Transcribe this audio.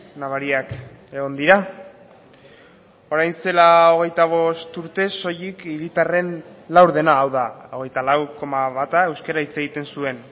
nabariak egon dira orain zela hogeita bost urte soilik hiritarren laurdena hau da hogeita lau koma bata euskara hitz egiten zuen